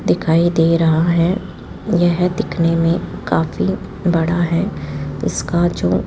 दिखाई दे रहा है यह दिखने में काफी बड़ा है इसका जो --